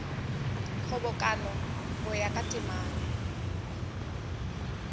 kgobokano go ya ka temana